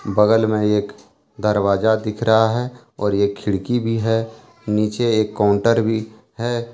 बगल में एक दरवाजा दिख रहा है और एक खिड़की भी है नीचे एक काउंटर भी है।